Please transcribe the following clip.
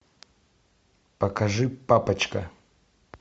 покажи папочка